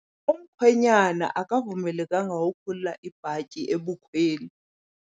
Umkhwenyana akavumelekanga ukukhulula ibhatyi ebukhweni.